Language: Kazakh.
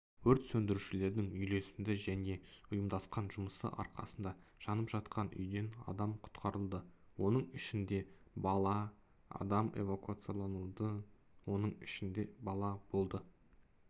өрт сөндірушілердің үйлесімді және ұйымдасқан жұмысы арқасында жанып жатқан үйден адам құтқарылды оның ішінде бала адам эвакуацияланды оның ішінде бала болды